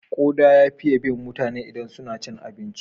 Kuda ya fiye bin mutane idan suna cin abinci.